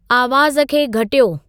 आवाज़ खे घटियो